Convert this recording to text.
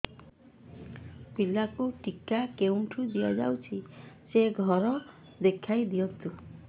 ପିଲାକୁ ଟିକା କେଉଁଠି ଦିଆଯାଉଛି ସେ ଘର ଦେଖାଇ ଦିଅନ୍ତୁ